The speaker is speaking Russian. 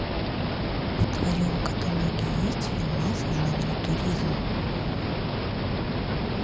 в твоем каталог есть фильмас в жанре туризм